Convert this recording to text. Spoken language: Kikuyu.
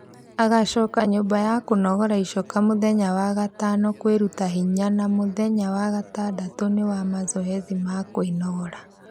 Agacoka nyũmba ya kũnogora icoka muthenya wa gatano kwĩruta hinya na mũthenya wa gatandatũ ni wa mazoezi ma kwĩnogora